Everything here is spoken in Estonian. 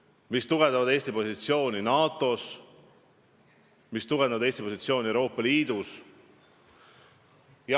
Need peavad tugevdama Eesti positsiooni NATO-s, need peavad tugevdama Eesti positsiooni Euroopa Liidus.